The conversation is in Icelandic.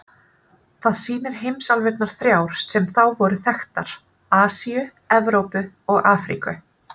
Það sýnir heimsálfurnar þrjár sem þá voru þekktar: Asíu, Evrópu og Afríku.